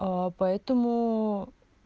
поэтому